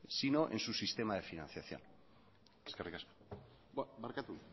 sino en su sistema de financiación eskerrik asko barkatu